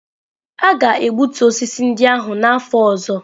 A ga-egbutu osisi ndị ahụ n'afọ ọzọ.